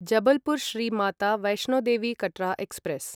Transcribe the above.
Jabalpur Shri Mata Vaishno Devi Katra express